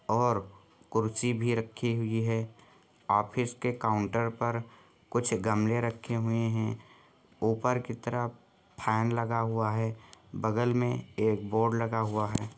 और कुर्सी भी रखी हुई है ऑफिस के काउंटर पर कुछ गमले रखे हुए हैं ऊपर की तरफ फैन लगा हुआ है बगल में एक बोर्ड लगा हुआ है।